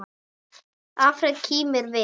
Alfreð kímir við.